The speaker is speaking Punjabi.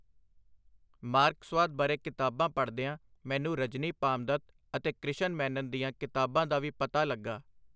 ਮਾਰਕਸਵਾਦ ਬਾਰੇ ਕਿਤਾਬਾਂ ਪੜ੍ਹਦਿਆਂ ਮੈਨੂੰ ਰਜਨੀ ਪਾਮਦੱਤ ਅਤੇ ਕ੍ਰਿਸ਼ਨ ਮੈਨਨ ਦੀਆਂ ਕਿਤਾਬਾਂ ਦਾ ਵੀ ਪਤਾ ਲੱਗਾ.